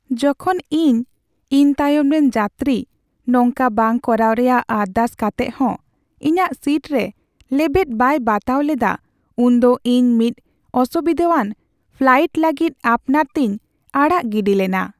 ᱡᱚᱠᱷᱚᱱ ᱤᱧ ᱤᱧ ᱛᱟᱭᱚᱢ ᱨᱮᱱ ᱡᱟᱹᱛᱨᱤ ᱱᱚᱝᱠᱟ ᱵᱟᱝ ᱠᱚᱨᱟᱣ ᱨᱮᱭᱟᱜ ᱟᱨᱫᱟᱥ ᱠᱟᱛᱮᱜ ᱦᱚᱸ ᱤᱧᱟᱹᱜ ᱥᱤᱴ ᱨᱮ ᱞᱮᱵᱮᱫ ᱵᱟᱭ ᱵᱟᱛᱟᱣ ᱞᱮᱫᱟ ᱩᱱᱫᱚ ᱤᱧ ᱢᱤᱫ ᱚᱥᱩᱵᱤᱫᱟᱣᱟᱱ ᱯᱷᱞᱟᱭᱤᱴ ᱞᱟᱹᱜᱤᱫ ᱟᱯᱱᱟᱨ ᱛᱮᱧ ᱟᱲᱟᱜ ᱜᱤᱰᱤ ᱞᱮᱱᱟ ᱾